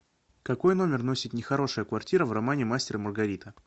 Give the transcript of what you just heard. какой номер носит нехорошая квартира в романе мастер и маргарита